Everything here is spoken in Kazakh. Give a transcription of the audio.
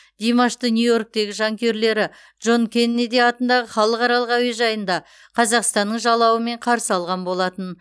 димашты нью йорктегі жанкүйерлері джон кеннеди атындағы халықаралық әуежайында қазақстанның жалауымен қарсы алған болатын